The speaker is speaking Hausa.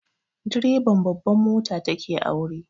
Direban babban mota ta ke aure